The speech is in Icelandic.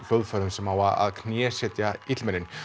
hljóðfærum sem á að knésetja illmennin